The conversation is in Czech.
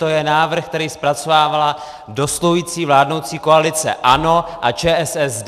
To je návrh, který zpracovávala dosluhující vládnoucí koalice ANO a ČSSD!